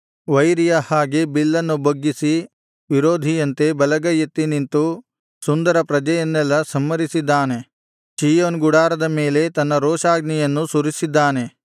ವೈರಿಯ ಹಾಗೆ ಬಿಲ್ಲನ್ನು ಬೊಗ್ಗಿಸಿ ವಿರೋಧಿಯಂತೆ ಬಲಗೈಯೆತ್ತಿ ನಿಂತು ಸುಂದರ ಪ್ರಜೆಯನ್ನೆಲ್ಲಾ ಸಂಹರಿಸಿದ್ದಾನೆ ಚೀಯೋನ್ ಗುಡಾರದ ಮೇಲೆ ತನ್ನ ರೋಷಾಗ್ನಿಯನ್ನು ಸುರಿಸಿದ್ದಾನೆ